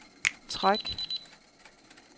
træk